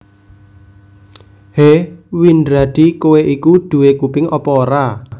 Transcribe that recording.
Hé Windradi kowé iku duwé kuping apa ora